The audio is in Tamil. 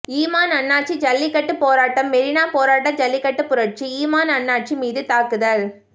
இமான் அண்ணாச்சி ஜல்லிக்கட்டு போராட்டம்மெரினா போராட்டம் ஜல்லிக்கட்டு புரட்சி இமான் அண்ணாச்சி மீது தாக்குதல்